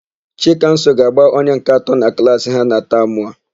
Chikamso ga-agba onye nke atọ na klaasị ha na tamụ a.